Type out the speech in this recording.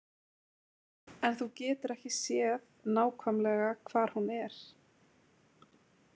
En þú getur ekki séð nákvæmlega hvar hún er